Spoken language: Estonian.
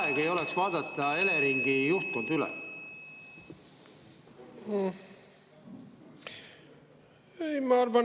Kas ei oleks aeg vaadata Eleringi juhtkond üle?